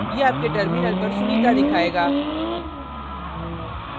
यह आपके terminal पर sunita दिखायेगा